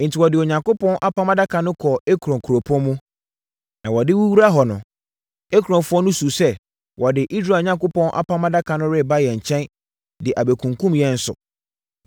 Enti, wɔde Onyankopɔn Apam Adaka no kɔɔ Ekron kuropɔn mu, na wɔde rewura hɔ no, Ekronfoɔ no suu sɛ, “Wɔde Israel Onyankopɔn Apam Adaka no reba yɛn nkyɛn de abɛkunkum yɛn nso.”